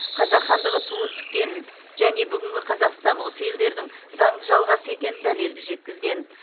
қазақ хандығы туын тіккенін және бүгінгі қазақстан осы елдердің заңды жалғасы екенін дәлелді жеткізген